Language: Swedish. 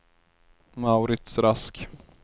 Mauritz Rask